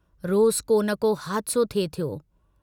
रोज़ को न को हादिसो थे थियो।